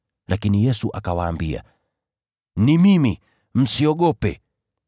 Lakini Yesu akawaambia, “Ni mimi. Msiogope.”